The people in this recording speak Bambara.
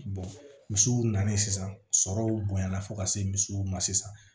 misiw nana sisan sɔrɔw bonya na fo ka se misiw ma sisan